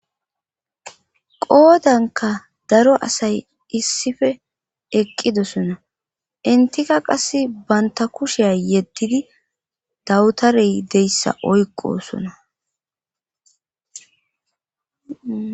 Qoodanka daro asay issife eqqidosona intika qass banta kushea yeddidi dawutarey deyssa oyqosona